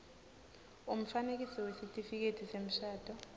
umfanekiso wesitifiketi semshado